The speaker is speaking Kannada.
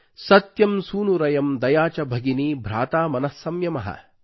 ಸತ್ಯಂ ಸೂನುರಯಮ್ ದಯಾ ಚ ಭಗಿನೀ ಭ್ರಾತಾ ಮನಃ ಸಂಯಮಃ